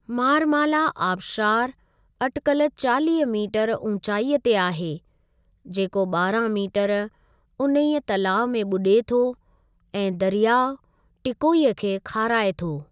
मारमाला आबशारु अटिकल चालीह मीटरु ऊचाईअ ते आहे, जेको ॿारहां मीटरु ऊनहे तलाउ में ॿुॾे थो ऐं दरियाउ टीकोई खे खाराए थो।